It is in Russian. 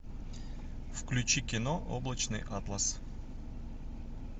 включи кино облачный атлас